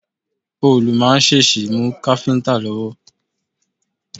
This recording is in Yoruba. Òòlù máa ń ṣèṣì mú káfíntà lọ́wọ́.